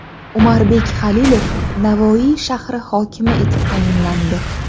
Umarbek Xalilov Navoiy shahri hokimi etib tayinlandi.